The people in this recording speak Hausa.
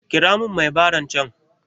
Kira mun mai baran can